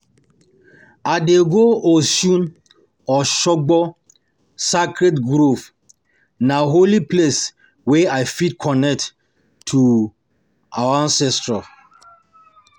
I dey go Osun-Osogbo Sacredd Grove, na holy place wey I fit connect to we ancestors.